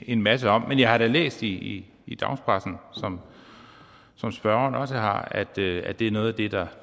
en masse om men jeg har da læst i i dagspressen som spørgeren også har at det er noget af det der